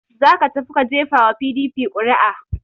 Za ka tafi ka gefa wa PDP ƙuri'a!